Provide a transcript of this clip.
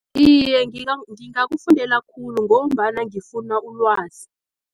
Iye, ngingakufundela khulu ngombana ngifuna ulwazi.